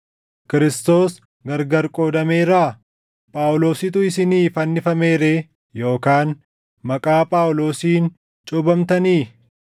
Kiristoos gargar qoodameeraa? Phaawulositu isinii fannifame ree? Yookaan maqaa Phaawulosiin cuuphamtanii?